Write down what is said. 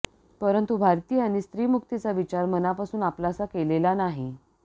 परंतु भारतीयांनी स्त्री मुक्तीचा विचार मनापासून आपलासा केलेला नाही